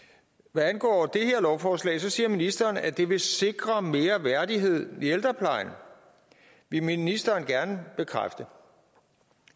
hvad angår det her lovforslag siger ministeren at det vil sikre mere værdighed i ældreplejen vil ministeren bekræfte